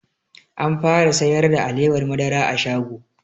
An fara sayar da alewar madara a shago